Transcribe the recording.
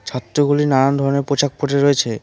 গুলি নানান ধরনের পোশাক পড়ে রয়েছে।